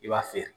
I b'a feere